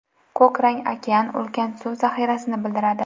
Ko‘k rang okean, ulkan suv zaxirasini bildiradi.